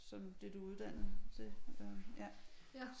Som det du er uddannet til øh ja